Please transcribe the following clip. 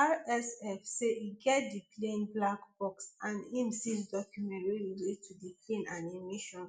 rsf say e get di plane black box and im seize documents wey relate to di plane and im mission